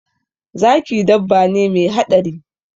Zaki dabba ne me haɗari